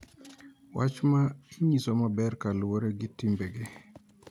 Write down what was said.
Wach ma inyiso maber koluwore gi timbegi .